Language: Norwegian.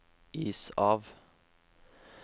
is av